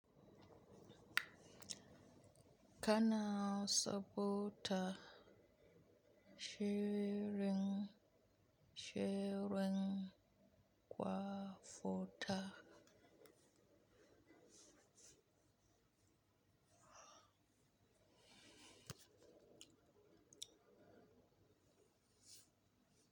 Kana sabunta shirin, shirin kwamfuta?